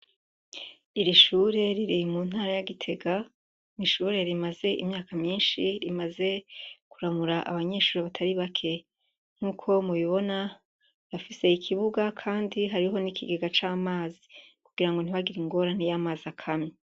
Iri shure riri mu ntara Gitega, n'ishure rimaze imyaka myinshi rimaze kuramura abanyeshure batari bake nkuko mubibona bafise ikibuga kandi hariho n'ikigega c'amazi kugira ngo ntibagire ingorane iyo amazi akamye.